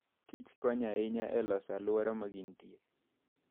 kich konyo ahinya e loso alwora ma gintie.